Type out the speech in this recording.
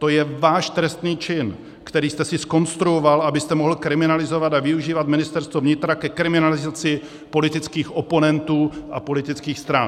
To je váš trestný čin, který jste si zkonstruoval, abyste mohl kriminalizovat a využívat Ministerstvo vnitra ke kriminalizaci politických oponentů a politických stran.